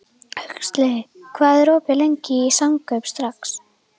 Huxley, hvað er opið lengi í Samkaup Strax?